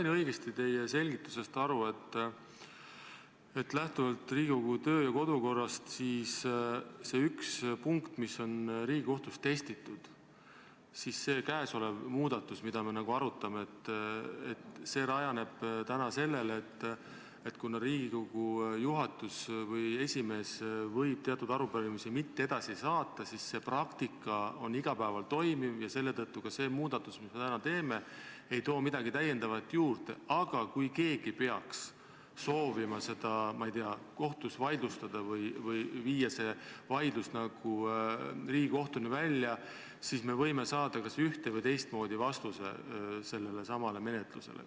Kas ma sain teie selgitusest õigesti aru, et lähtuvalt Riigikogu kodu- ja töökorrast see üks punkt, mida on Riigikohtus testitud, see muudatus, mida me arutame, rajaneb sellel, et kuna Riigikogu juhatus või esimees võib teatud arupärimisi mitte edasi saata, siis see praktika on iga päev toimiv, ja selle tõttu ka see muudatus, mida me täna teeme, ei too midagi täiendavat juurde, aga kui keegi peaks soovima seda, ma ei tea, kohtus vaidlustada või viia see vaidlus Riigikohtuni välja, siis me võime saada kas üht- või teistmoodi vastuse sellelesamale menetlusele?